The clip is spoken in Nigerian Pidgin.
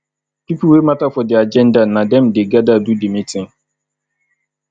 pipo wey matter for di agenda na dem de gather do di meeting